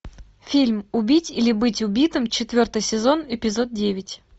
фильм убить или быть убитым четвертый сезон эпизод девять